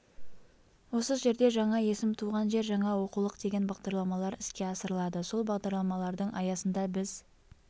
осы жерде жаңа есім туған жер жаңа оқулық деген бағдарламалар іске асырылады сол бағдарламалардың аясында біз